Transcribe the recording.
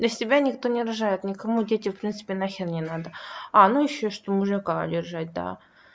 для себя никто не рожает никому дети в принципе нахер не надо а ну ещё что бы мужика удержать да